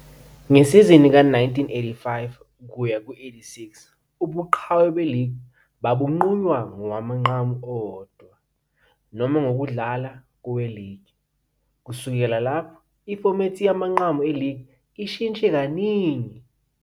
Ngesizini ka-1985-86, ubuqhawe beligi babunqunywa ngowamanqamu owodwa, noma ngokudlala koweligi. Kusukela lapho, ifomethi yamanqamu eligi ishintshe kaningi.